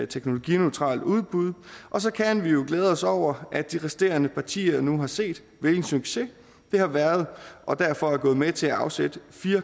teknologineutralt udbud og så kan vi jo glæde os over at de resterende partier nu har set hvilken succes det har været og derfor er gået med til at afsætte fire